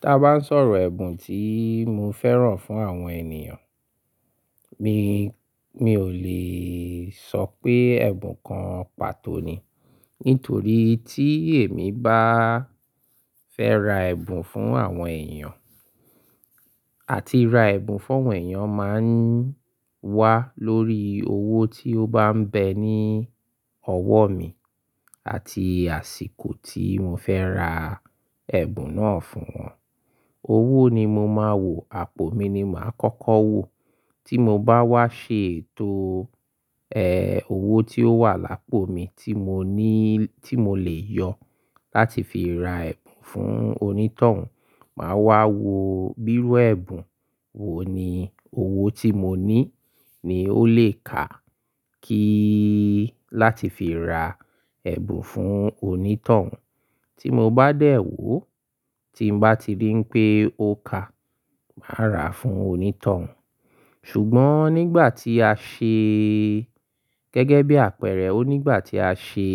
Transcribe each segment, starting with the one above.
Tí a bá ń sọ̀rọ̀ ẹ̀bùn tí mo fẹ́ràn fún àwọn ènìyàn, mi, mi ò lè sọ pé ẹ̀bùn kan pàtó ni. Nítorí tí èmi bá fẹ́ ra ẹ̀bùn fún àwọn èèyàn àti ra ẹ̀bùn fún àwọn èèyàn máa ń wá lórí owó tí ó bá ń bẹ ní ọwọ́ mi àti àsìkò tí mo fẹ́ ra ẹ̀bùn náà fún wọn. Owó ni mo máa wò, àpò mi ni màá kọ́kọ́ wò. Tí mo bá wá ṣe ètò, ẹ́, owó tí ó wà lápò mi tí mo ní, tí mo lè yọ láti fi ra ẹ̀bùn fún onítọ̀hún, màá wá wo bírú ẹ̀bùn wo ni owó tí mo ní ni ó lè ká kíí láti fi ra ẹ̀bùn fún onítọ̀hún. Tí mo bá dẹ̀ wò, tí n bá ti rí pé ó ká, màá rà á fún onítọ̀hún. Ṣùgbọ́n nígbà tí a ṣe gẹ́gẹ́ bí àpẹẹrẹ, ó nígbà tí a ṣe,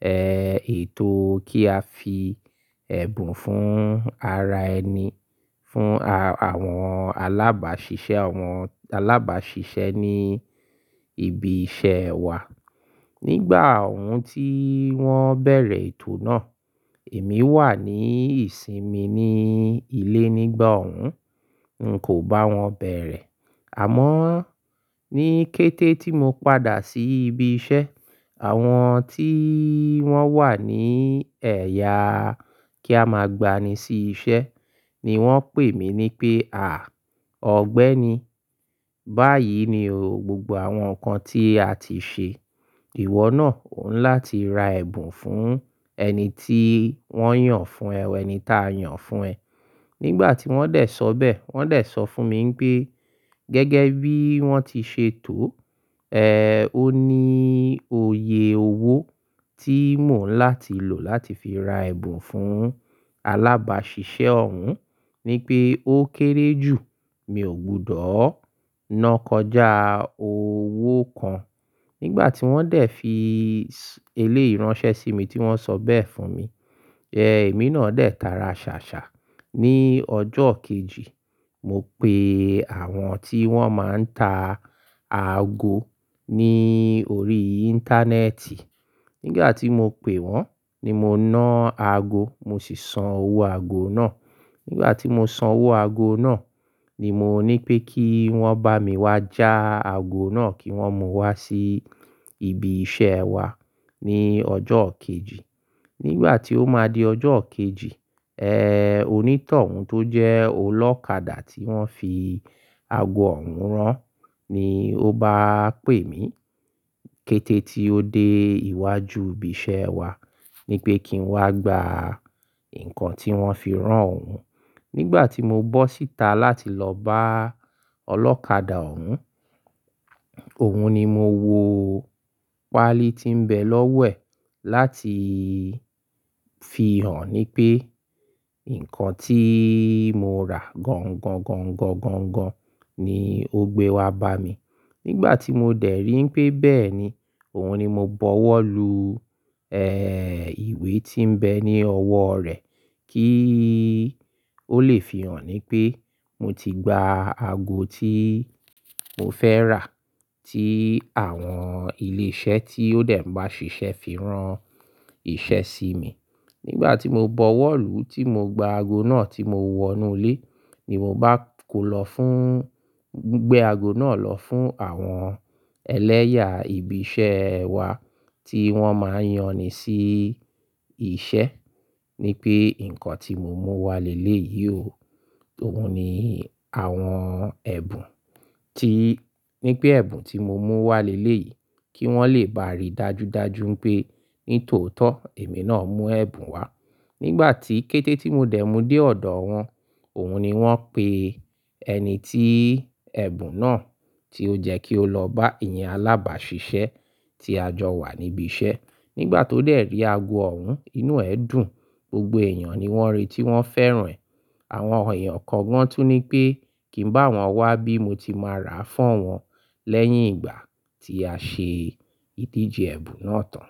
ẹ́, ètò kí a fi ẹ̀bùn fún ara ẹni, fún a-àwọn alábàásisẹ́, àwọn alábàásisẹ́ ní ibi iṣẹ́ wa. Nígbà òhún tí wọ́n bẹ̀rẹ̀ ètò náà, èmi wà ní ìsinmi ní ilé nígbà òhún, n kò bá wọn bẹ̀rẹ̀. Àmọ́ ní kété tí mo padà sí ibi iṣẹ́, àwọn tí wọ́n wà ní ẹ̀ya kí a máa gba ni sí iṣẹ́ ni wọ́n pè mí ní pé, "à, ọ̀gbẹ́ni, báyìí ni gbogbo àwọn nǹkan tí a ti ṣe. Ìwọ náà òún láti ra ẹ̀bùn fún ẹni tí wọ́n yàn fún ẹ, wẹ́nì tí a yàn fún ẹ." Nígbà tí wọ́n dẹ̀ sọ bẹ́ẹ̀, wọ́n dẹ̀ sọ fún mi pé gẹ́gẹ́ bí wọ́n ti ṣe tòo, ẹ́, ó ní òye owó tí mò ń láti lò láti fi ra ẹ̀bùn fún alábàásisẹ́ òhun. Ní pé ó kéré jù, mi ò gbọdọ̀ ná kọjá owó kan. Nígbà tí wọ́n dẹ̀ fi eléyìí ránṣẹ́ sí mi tí wọ́n sọ bẹ́ẹ̀ fún mi, ẹ́, èmi náà dẹ̀ tara ṣàṣà. Ní ọjọ́ kejì, mo pe àwọn tí wọ́n máa ń ta ago ní orí íńtánẹ́ẹ̀tì. Nígbà tí mo pè wọ́n ni mo ná ago, mo sì san owó ago náà. Nígbà tí mo san owó ago náà ni mo ní pé kí wọ́n bá mi wá já ago náà kí wọ́n mú wá sí ibi iṣẹ́ wa ní ọjọ́ kejì. Nígbà tí ó máa di ọjọ́ kejì, ẹ́, onítọ̀hún tó jẹ́ olókadà tí wọ́n fi ago òhun rán ni ó bá pè mí kété tí ó dé iwájú ibi iṣẹ́ wa ní pé kí n wá gba nǹkan tí wọ́n fi rán òhun. Nígbà tí mo bọ́ síta láti lọ bá olókadà òhun, òun ni mo wo páálí tí ń bẹ lọ́wẹ̀ láti fi hàn ní pé nǹkan tí mo rà gangan-gangan-gangan ni ó gbé wá bá mi. Nígbà tí mo dẹ̀ rí pé bẹ́ẹ̀ ni, òun ni mo bọwọ́ lu, ẹ́, ìwé tí ń bẹ ní ọwọ́ rẹ̀ kí ó lè fi hàn ní pé mo ti gba ago tí mo fẹ́ rà, tí àwọn ilé iṣẹ́ tí ó dẹ̀ ń bá ṣiṣẹ́ fi rán iṣẹ́ sí mi. Nígbà tí mo bọwọ́ lu tí mo gba ago náà tí mo wọ inú ilé ni mo bá kó lọ fún, gbé ago náà lọ fún àwọn ẹlẹ́yà ibi iṣẹ́ ẹ wa tí wọ́n máa ń yan ni sí iṣẹ́, ní pé nǹkan tí mo mú wá léyìí ò, òun ni àwọn ẹ̀bùn tí, ní pé ẹ̀bùn tí mo mú wá léyìí kí wọ́n lè bá rí dájúdájú pé ní tòótọ́ èmi náà mú ẹ̀bùn wá. Nígbà tí kété tí mo dẹ̀ mú dé ọ̀dọ̀ wọn, òun ni wọ́n pè ẹni tí ẹ̀bùn náà tí ó jẹ́ kí ó lọ bá ẹ̀yin alábàásisẹ́ tí a jọ wà níbi iṣẹ́. Nígbà tó dẹ̀ rí ago òhun, inú ẹ̀ dùn. Gbogbo èèyàn ni wọ́n rí tí wọ́n fẹ́ràn ẹ̀. Àwọn èèyàn kan gbọ́n tú ní pé kí ń bá wọn wá bí mo ti máa rà á fún wọn lẹ́yìn ìgbà tí a ṣe ìdíje ẹ̀bùn náà tán.